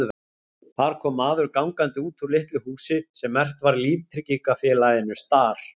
Þar kom maður gangandi út úr litlu húsi sem merkt var líftryggingafélaginu Star.